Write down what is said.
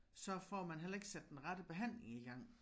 Så får man heller ikke sat den rette behandling i gang